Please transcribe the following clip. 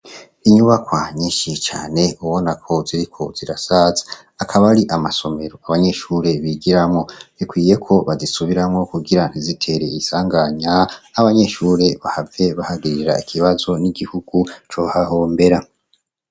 Inyubakoanyinshie cane ubona ko ziri ko zirasaza akaba ari amasomeruka abanyeshure bigiramwo bikwiye ko bazisubiramwo kugira nt izitereye isanganya abanyeshure bahave bahagirira ikibazo n'igihugu co hahombera.